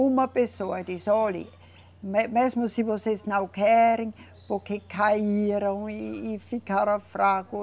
Uma pessoa disse, olhe, me, mesmo se vocês não querem, porque caíram e, e ficaram fracos.